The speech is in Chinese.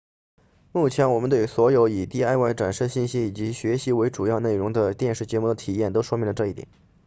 目前我们对所有以 diy 展示信息以及以学习为主要内容的电视节目的体验都说明了这一点